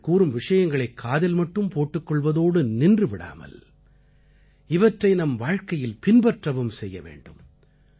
இவர்கள் கூறும் விஷயங்களைக் காதில் மட்டும் போட்டுக் கொள்வதோடு நின்று விடாமல் இவற்றை நம் வாழ்க்கையில் பின்பற்றவும் செய்ய வேண்டும்